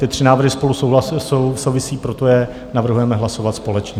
Ty tři návrhy spolu souvisí, proto je navrhujeme hlasovat společně.